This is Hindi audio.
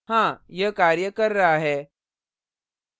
हाँ यह कार्य कर रहा है!